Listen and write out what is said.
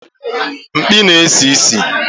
Mkpi na-esi ísì